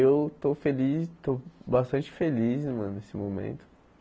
Eu estou feliz, estou bastante feliz mano nesse momento.